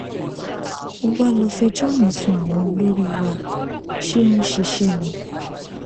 ó wàá lọọ fẹjọ mi sun àwọn olórí wa ṣé ó ń ṣiṣẹ ni